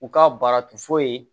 U ka baara tun fɔlen